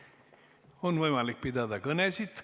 On võimalik pidada kõnesid.